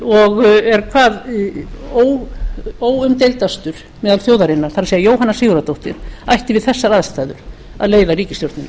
og er hvað óumdeildastur meðal þjóðarinnar það er jóhanna sigurðardóttir ætti við þessar aðstæður að leiða ríkisstjórnina